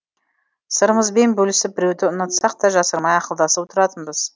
сырымызбен бөлісіп біреуді ұнатсақ та жасырмай ақылдасып отыратынбыз